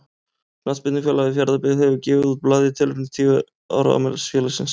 Knattspyrnufélagið Fjarðabyggð hefur gefið út blað í tilefni af tíu ára afmæli félagsins.